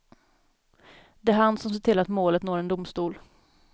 Det är han som ser till att målet når en domstol.